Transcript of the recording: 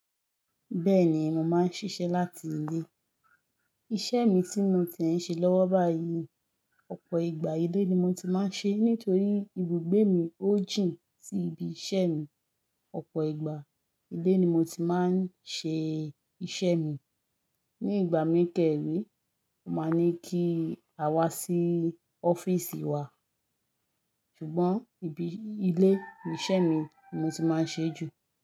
Bẹ́ẹ̀ni, mo máa ń ṣiṣẹ́ láti ilé. Iṣẹ́ mi tí mo ti ń ṣe lọ́wọ́ báyìí, ọ̀pọ̀ ìgbà ilé ni mo ti máa ń ṣe nítorí ibùgbé mi ó jìn sí ibi iṣẹ́ mi. Ọ̀pọ̀ ìgbà ilé ni mo ti máa ń ṣe iṣẹ́ mi. Ní ìgbà mí ke re won máa ní kí a wá sí ọ́fíìsì wa, ṣùgbọ́n ibi ilé ni iṣẹ́ mi ni mo ti máa ń ṣe jù.